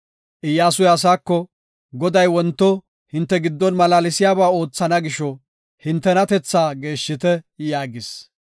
Iyyasuy asaako, “Goday wonto hinte giddon malaalsiyaba oothana gisho, hintenatethaa geeshshite” yaagis.